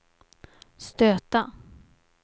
stöta